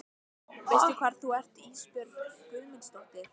Veistu hvar þú ert Ísbjörg Guðmundsdóttir?